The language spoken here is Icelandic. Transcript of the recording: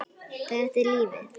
Þetta er lífið.